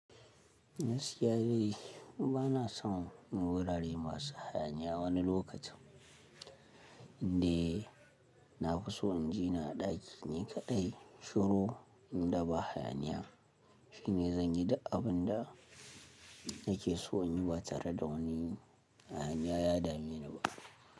Nas ya yi, bana son wurare masu hayaniya wani lokacin. Inda na fi so in jira a ɗaki ne kaɗai shiru. Inda ba hayaniya shine zan gi da abin da nake so in yi ba tare da wani hayaniya ya dame ni ba.